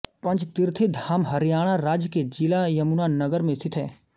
पंचतीर्थी धाम हरियाणा राज्य के जिला यमुनानगर में स्थित है